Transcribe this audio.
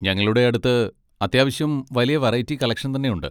ഞങ്ങളുടെ അടുത്ത് അത്യാവശ്യം വലിയ വെറൈറ്റി കളക്ഷൻ തന്നെയുണ്ട്.